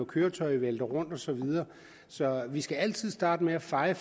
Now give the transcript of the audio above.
køretøjet vælter rundt og så videre så vi skal altid starte med at feje